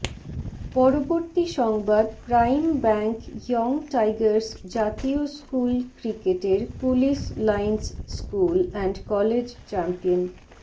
পরবর্তী সংবাদ prime bank young tigers জাতীয় স্কুল ক্রিকেটের police lines school and college champion